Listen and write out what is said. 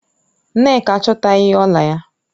Nneka achotaghi ọla ya